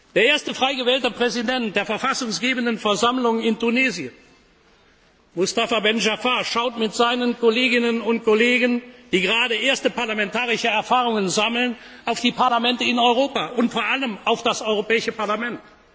Der erste frei gewählte Präsident der verfassungsgebenden Versammlung in Tunesien, Mustapha Ben Jaafar, schaut mit seinen Kolleginnen und Kollegen, die gerade erste parlamentarische Erfahrungen sammeln, auf die Parlamente in Europa und vor allem auf das Europäische